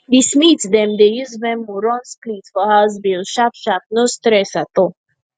the smith dem dey use venmo run split for house bills sharpsharp no stress at all